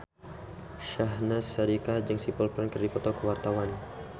Syahnaz Sadiqah jeung Simple Plan keur dipoto ku wartawan